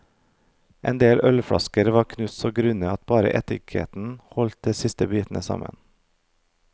En del ølflasker var knust så grundig at bare etiketten holdt de siste bitene sammen.